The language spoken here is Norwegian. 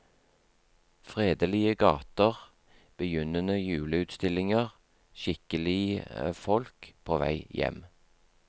Fredelige gater, begynnende juleutstillinger, skikkelige folk på vei hjem.